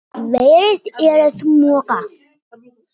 Verið er að moka.